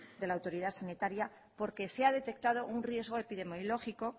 de la autoridad sanitaria porque se ha detectado un riesgo epidemiológico